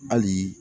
Hali